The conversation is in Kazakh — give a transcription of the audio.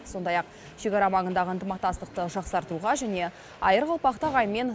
сондай ақ шекара маңындағы ынтымақтастықты жақсартуға және айыр қалпақты ағайынмен